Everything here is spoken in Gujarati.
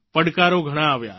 પડકારો ઘણાં આવ્યા